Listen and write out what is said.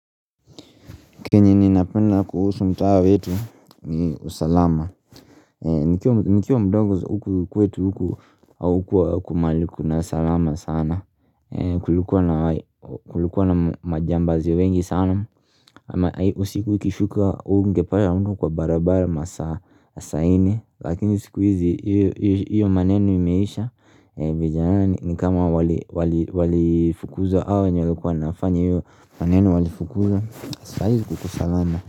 Kenye ninapenda kuhusu mtaa wetu ni usalama nikiwa mdogo huku kwetu huku haukuwa mahali kuna usalama sana, Kulikuwa na majambazi wengi sana usiku ikishuka hungepata mtu kwa barabara masaa nne, Lakini siku hizi hiyo maneno imeisha Mavijana ni kama walifukuza hawa wenye walikuwa wanafanya hiyo maneno walifukuzwa, sahii kuko salama.